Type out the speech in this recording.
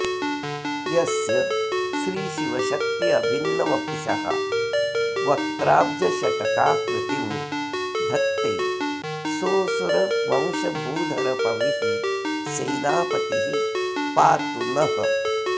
यस्य श्रीशिवशक्त्यभिन्नवपुषो वक्त्राब्जषट्काकृतिं धत्ते सोऽसुरवंशभूधरपविः सेनापतिः पातु नः